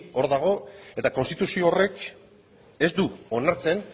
hor dago eta konstituzio horrek ez du onartzen